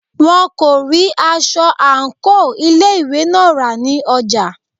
Wọn kò rí aṣọ àńkò ilé ìwé náà rà ní ọjà.